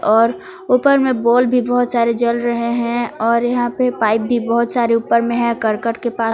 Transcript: और ऊपर में बोल भी बहुत सारे जल रहे हैं और यहां पे पाइप भी बहुत सारे ऊपर में है करकट के पास।